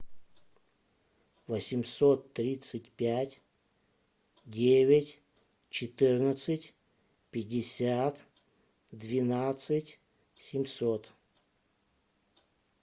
восемьсот тридцать пять девять четырнадцать пятьдесят двенадцать семьсот